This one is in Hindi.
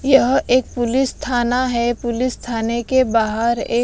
यह एक पुलिस थाना है पुलिस थाने के बाहर एक--